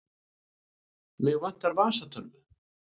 Mig vantar vasatölvu.